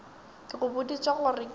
ke go boditše gore ke